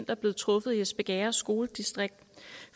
er blevet truffet i espergærde skoledistrikt